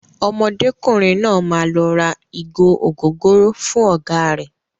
Ọmọdékùnrin náà máa lọ ra ìgò ògóróró fún ọ̀gá rẹ̀.